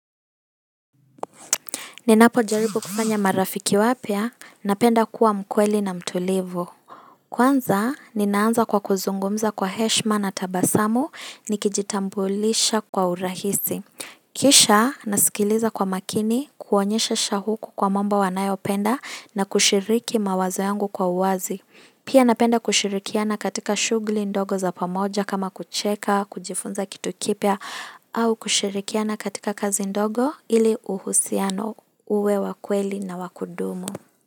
Ninapo jaribu kufanya marafiki wapya, napenda kuwa mkweli na mtulivu. Kwanza, ninaanza kwa kuzungumza kwa heshima na tabasamu, nikijitambulisha kwa urahisi. Kisha, nasikiliza kwa makini, kuonyesha shahuku kwa mambo wanayo penda na kushiriki mawazo yangu kwa uwazi. Pia napenda kushirikiana katika shughli ndogo za pamoja kama kucheka, kujifunza kitu kipya, au kushirikiana katika kazi ndogo ili uhusiano uwe wa kweli na wa kudumu.